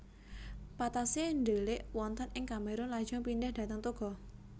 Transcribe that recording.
Patassé ndelik wonten ing Kamerun lajeng pindhah dhateng Togo